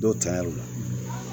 Dɔw taɲɛriw